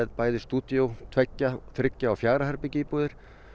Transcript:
stúdíó tveggja þriggja og fjögurra herbergja íbúðir